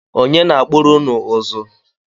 Ọnye na-akpụrụ ụnụ ụzụ?